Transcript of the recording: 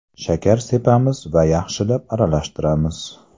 Shakar sepamiz va yaxshilab aralashtiramiz.